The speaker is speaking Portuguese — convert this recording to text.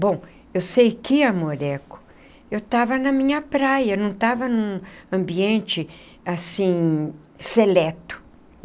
Bom, eu sei que, amoreco, eu estava na minha praia, não estava num ambiente, assim, seleto.